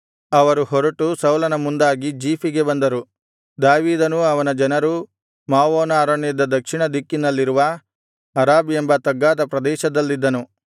ಅವರು ಹೊರಟು ಸೌಲನ ಮುಂದಾಗಿ ಜೀಫಿಗೆ ಬಂದರು ದಾವೀದನೂ ಅವನ ಜನರೂ ಮಾವೋನ ಅರಣ್ಯದ ದಕ್ಷಿಣ ದಿಕ್ಕಿನಲ್ಲಿರುವ ಅರಾಬ್ ಎಂಬ ತಗ್ಗಾದ ಪ್ರದೇಶದಲ್ಲಿದ್ದನು